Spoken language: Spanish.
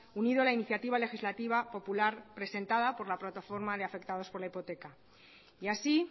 unido a la iniciativa legislativa popular presentada por la plataforma de afectados por la hipoteca y así